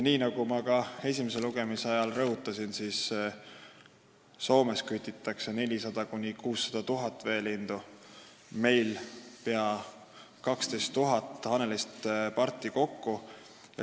Nagu ma esimese lugemise ajal rõhutasin, kütitakse Soomes 400 000 – 600 000 veelindu aastas, meil aga kokku pea 12 000 hanelist-parti.